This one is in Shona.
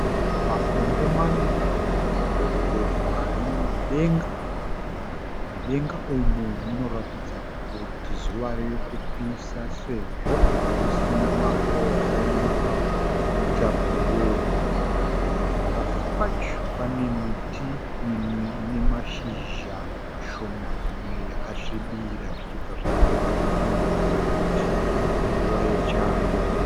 Makondo maviri arikubhururuka ari mudenga. Mudenga umu munoratidza kuti zuva ririkupisa sezvo musina makore makaita bhuruu. Pasi pacho pane miti mimwe ine mashizha mashoma imwe yakasvibira. Izvo zvinobva zvaita kuti tifungidzire kuti inguva yechando.